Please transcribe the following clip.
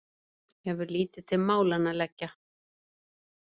Hefur lítið til málanna að leggja.